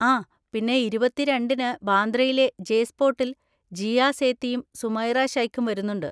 ആ പിന്നെ ഇരുപത്തി രണ്ടിന് ബാന്ദ്രയിലെ ജെ സ്പോട്ടിൽ ജീയാ സേത്തിയും സുമൈറ ശൈഖും വരുന്നുണ്ട്.